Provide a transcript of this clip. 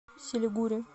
силигури